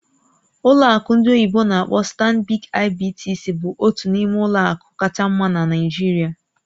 Ọlụ akụ ndị oyibo n'akpọ "StanbicIBTC" bụ otu n'ime ụlọ akụ kacha mma na Naịjirịa